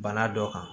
Bana dɔ kan